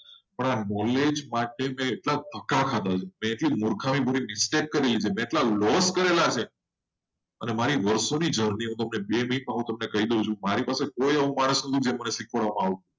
પણ આ knowledge માટે મેં એટલા ટકા ખાધા છે? એટલી મૂર્ખા ભરી mistake કરી લીધી. કેટલા લોન કરેલા છે? અને મારી વર્ષોની જર્ની તમને બે મિનિટમાં કહી દઉં છું. મારી પાસે કોઈ એવો માણસ હતો? કે મને શીખવાડવામાં આવતું.